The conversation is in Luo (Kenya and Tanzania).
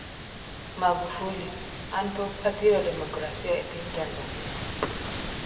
Magufuli: An pok athiro demokrasia e piny Tanzania